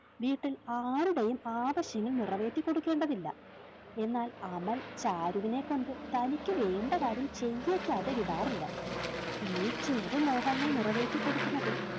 വീട്ടിൽ ആരുടേയും ആവശ്യങ്ങൾ നിറവേറ്റി കൊടുക്കേണ്ടതില്ല എന്നാൽ അമൽ ചാരുവിനെ കൊണ്ട് തനിക്ക് വേണ്ട കാര്യം ചെയ്യിക്കാതെ വിടാറില്ല ഈ ചെറു മോഹങ്ങൾ നിറവേറ്റി കൊടുക്കുന്നതിൽ